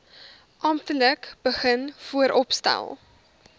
amptelik begin vooropstel